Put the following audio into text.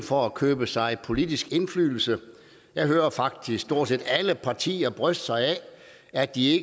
for at købe sig politisk indflydelse jeg hører faktisk stort set alle partier bryste sig af at de